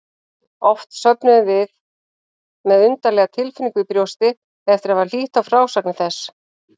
Oft sofnuðum við með undarlega tilfinningu í brjósti eftir að hafa hlýtt á frásagnir þess.